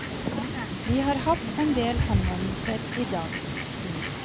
Vi har hatt en del henvendelser i dag.